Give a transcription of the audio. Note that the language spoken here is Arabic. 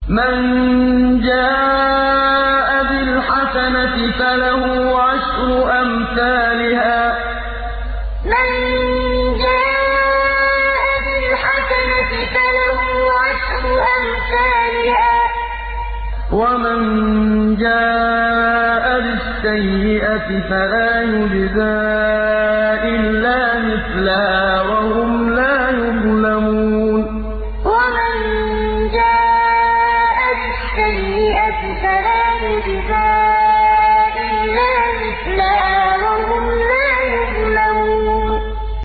مَن جَاءَ بِالْحَسَنَةِ فَلَهُ عَشْرُ أَمْثَالِهَا ۖ وَمَن جَاءَ بِالسَّيِّئَةِ فَلَا يُجْزَىٰ إِلَّا مِثْلَهَا وَهُمْ لَا يُظْلَمُونَ مَن جَاءَ بِالْحَسَنَةِ فَلَهُ عَشْرُ أَمْثَالِهَا ۖ وَمَن جَاءَ بِالسَّيِّئَةِ فَلَا يُجْزَىٰ إِلَّا مِثْلَهَا وَهُمْ لَا يُظْلَمُونَ